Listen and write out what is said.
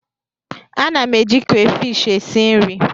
A na m eji krefishi esi nri.